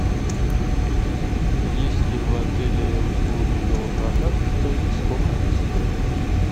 есть ли в отеле услуги велопроката и сколько они стоят